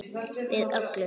Við öllu.